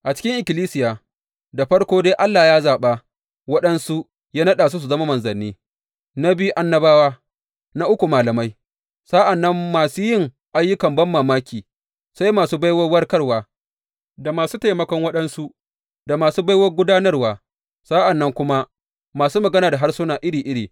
A cikin ikkilisiya, da farko dai Allah ya zaɓa waɗansu ya naɗa su su zama manzanni, na biyu annabawa, na uku malamai, sa’an nan masu yin ayyukan banmamaki, sai masu baiwar warkarwa, da masu taimakon waɗansu, da masu baiwar gudanarwa, sa’an nan kuma masu magana da harsuna iri iri.